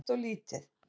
Það er alltof lítið.